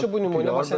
Çox yaxşı bu nümunə.